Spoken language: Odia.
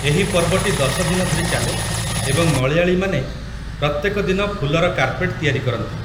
ଏହି ପର୍ବଟି ୧୦ ଦିନ ଧରି ଚାଲେ ଏବଂ ମଳୟାଳିମାନେ ପ୍ରତ୍ୟେକ ଦିନ ଫୁଲର କାର୍ପେଟ୍ ତିଆରି କରନ୍ତି ।